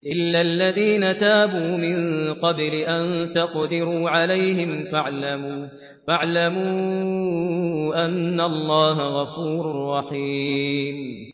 إِلَّا الَّذِينَ تَابُوا مِن قَبْلِ أَن تَقْدِرُوا عَلَيْهِمْ ۖ فَاعْلَمُوا أَنَّ اللَّهَ غَفُورٌ رَّحِيمٌ